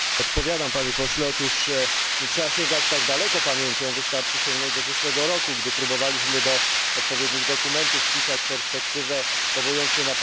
Nie trzeba sięgać tak daleko pamięcią, wystarczy sięgnąć do zeszłego roku, gdy próbowaliśmy do odpowiednich dokumentów wpisać perspektywę, powołując się na art.